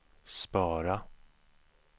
spara